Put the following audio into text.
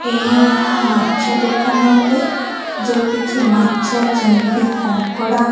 ଏହା ଏକ ମାଛ ଦୋକାନ ଅଟେ ଯୋଉଟି କି ମାଛ ଚିଙ୍ଗୁଡ଼ି କଙ୍କଡା--